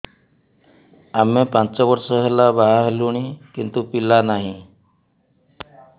ଆମେ ପାଞ୍ଚ ବର୍ଷ ହେଲା ବାହା ହେଲୁଣି କିନ୍ତୁ ପିଲା ନାହିଁ